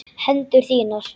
Hendur þínar.